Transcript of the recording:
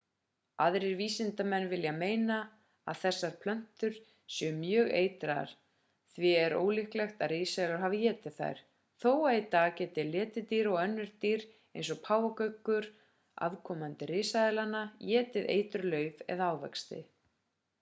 aðrir vísindamenn vilja meina að þessar plöntur séu mjög eitraðar. því er ólíklegt að risaeðlur hafi étið þær þó að í dag geti letidýr og önnur dýr eins og páfagaukurinn afkomandi risaeðlanna étið eitruð lauf eða ávexti